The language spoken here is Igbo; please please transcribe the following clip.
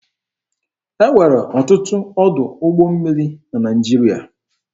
E nwere ọtụtụ ọdụ ụgbọ mmiri na Naịjirịa.